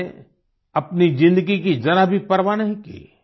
उन्होंने अपनी ज़िंदगी की जरा भी परवाह नहीं की